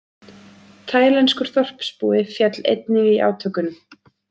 Taílenskur þorpsbúi féll einnig í átökunum